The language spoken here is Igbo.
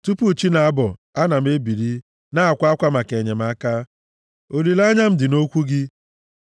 Tupu chị na-abọ, ana m ebili, na-akwa akwa maka enyemaka; olileanya m dị nʼokwu gị.